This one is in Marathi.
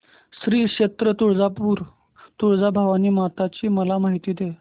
श्री क्षेत्र तुळजापूर तुळजाभवानी माता ची मला माहिती दे